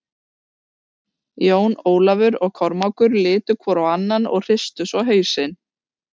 Jón Ólafur og Kormákur litu hvor á annan og hristu svo hausinn.